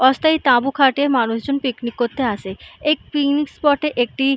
অস্থায়ী তাবু খাটিয়ে মানুষজন পিকনিক করতে আসে। এই পিকনিক স্পট এ একটি।